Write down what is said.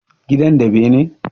Gidan da bene?